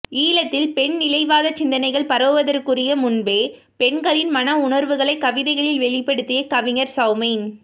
ஈழத்தில் பெண்நிலைவாதச் சிந்தனைகள் பரவுவதற்ககுரிய முன்பே பெண்களின் மன உணர்வுகளைக் கவிதைகளில் வெளிப்படுத்திய கவிஞர் சௌமின்